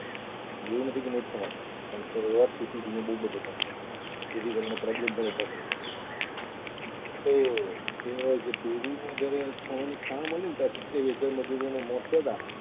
એવું નથી કે નથી થવાના પણ જેથી કરીને problem પણ ઊભા થાય તો કહેવાય કે પેરોમાં જ્યારે સોનાની ખાણ બને ને ત્યારે સત્યાવીસ હજાર મજૂરોના મોત થયા તા.